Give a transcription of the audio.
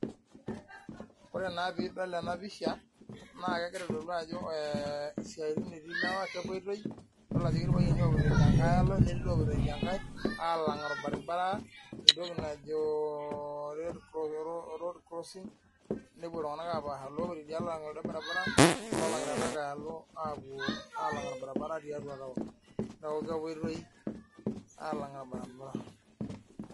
Ore naa pee edol ena pisha naa kegira aitodolu Ajo esiatin etii lewa kepuoitoi edol Ajo etii loipuito edialo netii lopuonu alang orbaribara entoki najo road crossing nepuo iltung'ana apasha alang orbaribara loo langita tidia shoto apuo alang orbaribara tiatua taoni neeku kepuoitoi alang orbaribara